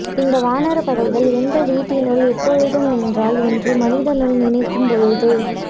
இந்த வானரப்படைகள் என்ட வீட்டினுள் எப்பொழுதும் நின்றால் என்று மனதினுள் நினைக்கும் பொழுது